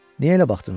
Niyə elə baxdın ona?